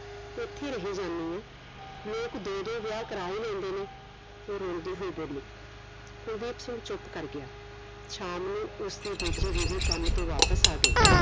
ਇਥੇ ਰਹਿ ਜਾਣੀ ਆ ਲੋਕ ਦੋ ਦੋ ਵਿਆਹ ਕਰਾ ਹੀ ਲੈਂਦੇ ਨੇ ਉਹ ਰੁਲਦੀ ਹੋਈ ਬੋਲੀ ਕੁਲਦੀਪ ਸਿੰਘ ਚੁੱਪ ਕਰ ਗਿਆ ਸ਼ਾਮ ਨੂੰ ਉਸਦੀ ਦੂਜੀ ਬੀਵੀ ਕਾਮ ਤੋਂ ਵਾਪਿਸ ਆ ਗਈ